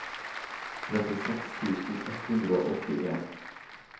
trettiseks tusen ett hundre og åttien